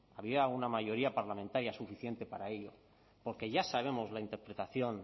había una mayoría parlamentaria suficiente para ello porque ya sabemos la interpretación